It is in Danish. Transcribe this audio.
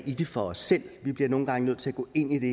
i det for os selv vi bliver nogle gange nødt til at gå ind i det